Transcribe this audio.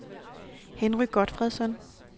Henry Gotfredsen